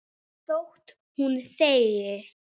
Þótt hún þegi.